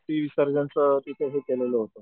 अस्थी विसर्जन च तिथे हे केलं होत,